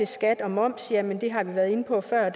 skat og moms har vi været inde på før og